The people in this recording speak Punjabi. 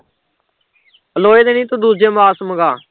ਲੋਹੇ ਦੇ ਨੀ ਤੂੰ ਦੂਜੇ ਬਾਸ ਮਗਾ